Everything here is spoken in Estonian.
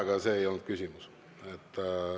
Aga see ei olnud küsimus.